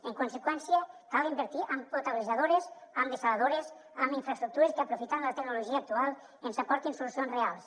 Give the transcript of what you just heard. en conseqüència cal invertir en potabilitzadorades en dessaladores en infraestructures que aprofitant la tecnologia actual ens aportin solucions reals